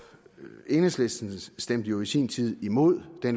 enhedslisten stemte jo i sin tid imod det